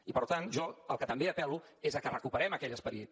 i per tant jo al que també apel·lo és a que recuperem aquell esperit